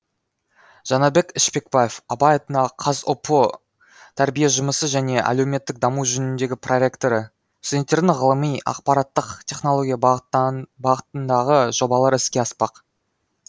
жанатбек ішпекбаев абай атындағы қазұпу тәрбие жұмысы және әлеуметтік даму жөніндегі проректоры студенттердің ғылыми ақпараттық технология бағытындағы жобалары іске аспақ